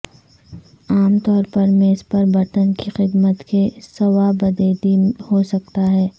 عام طور پر میز پر برتن کی خدمت کے صوابدیدی ہو سکتا ہے